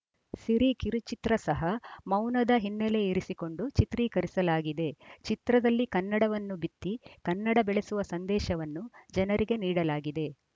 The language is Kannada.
ಸಿರಿ ಕಿರುಚಿತ್ರ ಸಹ ಮೌನದ ಹಿನ್ನೆಲೆ ಇರಿಸಿಕೊಂಡು ಚಿತ್ರೀಕರಿಸಲಾಗಿದೆ ಚಿತ್ರದಲ್ಲಿ ಕನ್ನಡವನ್ನು ಬಿತ್ತಿ ಕನ್ನಡ ಬೆಳೆಸುವ ಸಂದೇಶವನ್ನು ಜನರಿಗೆ ನೀಡಲಾಗಿದೆ